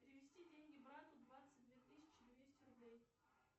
перевести деньги брату двадцать две тысячи двести рублей